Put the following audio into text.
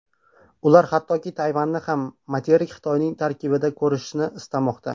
Ular hattoki Tayvanni ham materik Xitoyning tarkibida ko‘rishni istamoqda.